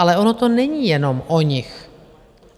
Ale ono to není jenom o nich.